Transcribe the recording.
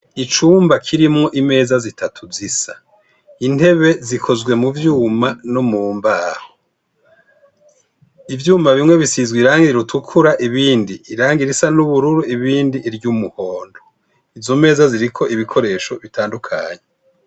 Icumba kirimwo imeza zitatu zisa, intebe zikozwe mu vyuma no mu mbaho. Ivyuma bimwe bisizwe irangi ritukura ibindi irangi risa n'ubururu, ibindi iry'umuhondo. Izo meza ziriko ibikoresho bitandukanye.